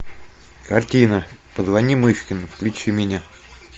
картина позвони мышкину включи мне